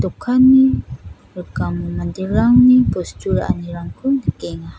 dokani rikamo manderangni bostu ra·anirangko nikenga.